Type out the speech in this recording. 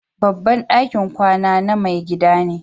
Babban dakin kwana na mai gidan ne.